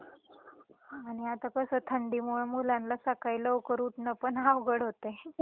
आणि आता कस थंडीमुळ मुलांना सकाळी लवकर उठण पण अवघड होतय.